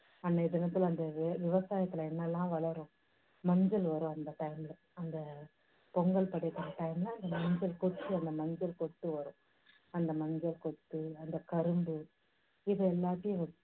அன்னைய தினத்துல அந்த விவசாயத்துல என்னெல்லாம் வளரும், மஞ்சள் வரும் அந்த time ல, அந்த பொங்கல் படைக்குற time அந்த மஞ்சள் கொத்து அந்த மஞ்சள் கொத்து வரும். அந்த மஞ்சள் கொத்து அந்தக் கரும்பு இது எல்லாத்தையும் வச்சு